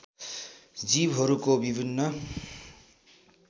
जीवहरूका विभिन्न